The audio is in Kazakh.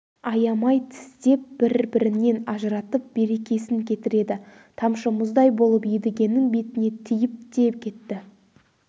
аямай тістеп бір-бірінен ажыратып берекесін кетіреді тамшы мұздай болып едігенің бетіне тиіп те кетті